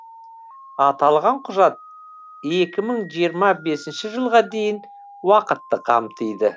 аталған құжат екі мың жиырма бесінші жылға дейінгі уақытты қамтиды